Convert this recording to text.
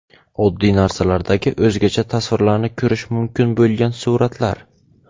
Oddiy narsalardagi o‘zgacha tasvirlarni ko‘rish mumkin bo‘lgan suratlar .